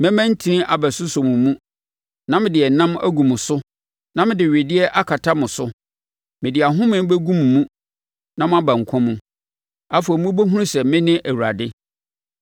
Mɛma ntini abɛsosɔ mo mu, na mede ɛnam agu mo so na mede wedeɛ akata mo so. Mede ahomeɛ bɛgu mo mu na moaba nkwa mu. Afei wobɛhunu sɛ mene Awurade.’ ”